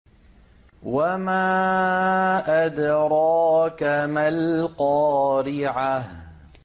وَمَا أَدْرَاكَ مَا الْقَارِعَةُ